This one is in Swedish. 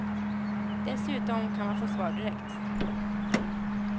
Dessutom kan man få svar direkt.